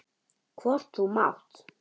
Hvort þú mátt!